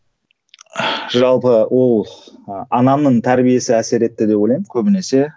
жалпы ол ы анамның тәрбиесі әсер етті деп ойлаймын көбінесе